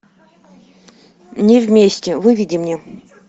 не вместе выведи мне